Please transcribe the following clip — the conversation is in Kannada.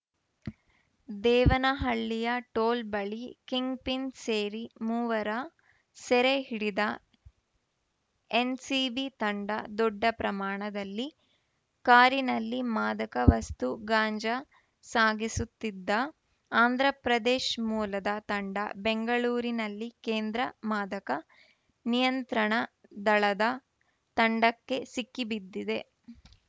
ದೇವನಹಳ್ಳಿಯ ಟೋಲ್‌ ಬಳಿ ಕಿಂಗ್‌ಪಿನ್‌ ಸೇರಿ ಮೂವರ ಸೆರೆ ಹಿಡಿದ ಎನ್‌ಸಿಬಿ ತಂಡ ದೊಡ್ಡ ಪ್ರಮಾಣದಲ್ಲಿ ಕಾರಿನಲ್ಲಿ ಮಾದಕ ವಸ್ತು ಗಾಂಜಾ ಸಾಗಿಸುತ್ತಿದ್ದ ಆಂಧ್ರಪ್ರದೇಶ್ ಮೂಲದ ತಂಡ ಬೆಂಗಳೂರಿನಲ್ಲಿ ಕೇಂದ್ರ ಮಾದಕ ನಿಯಂತ್ರಣ ದಳದ ತಂಡಕ್ಕೆ ಸಿಕ್ಕಿ ಬಿದ್ದಿದೆ